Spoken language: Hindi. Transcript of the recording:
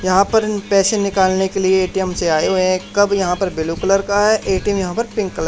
यहां पर इन पैसे निकालने के लिए ए_टी_एम से आए हुए है कब यहां पर ब्ल्यू कलर का है ए_टी_एम यहां पर पिंक कलर --